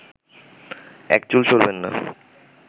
এক চুল সরবেননা